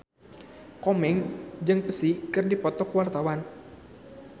Komeng jeung Psy keur dipoto ku wartawan